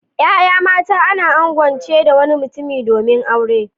Ya'ya mata ana angwance da wani mutum domin aure.